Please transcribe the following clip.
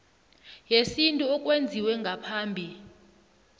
yesintu okwenziwe ngaphambi